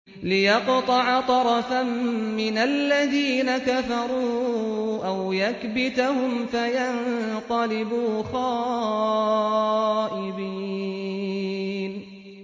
لِيَقْطَعَ طَرَفًا مِّنَ الَّذِينَ كَفَرُوا أَوْ يَكْبِتَهُمْ فَيَنقَلِبُوا خَائِبِينَ